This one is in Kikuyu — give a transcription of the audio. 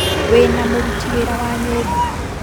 Wĩna mũruti wĩra wa nyũmba?